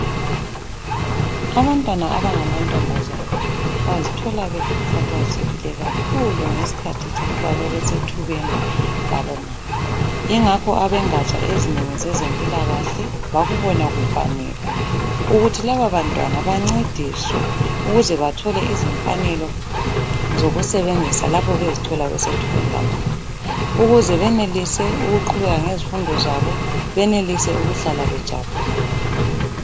Abantwana abangamantombazane bazithola bekhathazekile kakhulu ngesikhathi sokuba bebe sethubeni labomama ingakho abengaja ezinengi zezempilakahle bakubona kufanele ukuthi lababantwana bancediswe ukuze bathole izimfanelo zokusebenzisa lapho bezithola besethubeni labomama ukuze benelise ukuqhubeka ngezifundo zabo, benelise ukuhlala bejabulile.